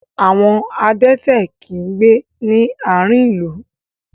Àwon adẹ́tẹ̀ kì í gbé ní àárihn ìlú.